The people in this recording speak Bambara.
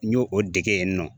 N y'o o dege yen nɔ